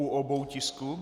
U obou tisků?